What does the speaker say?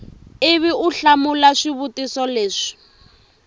ivi u hlamula swivutiso leswi